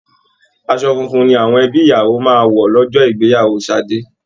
Àsọ funfun ni àwọn ẹbí ìyàwó máa wọ lọ́jọ́ ìgbéyàwó Ṣadé